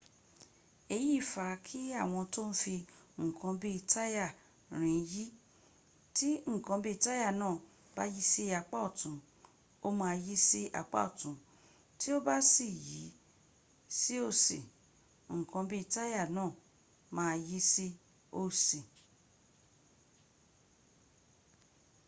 èyí fa kí àwọn tó ń fi ǹkan bí táyà rìn yí tí ǹkan bí táyà náà bá yí sí apá ọ̀tún ó ma yí sí apá ọ̀tún tí ó bá yí sí òsì ǹkan bí táyà náà ma yí sí òsì